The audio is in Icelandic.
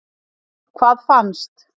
Hvað fannst?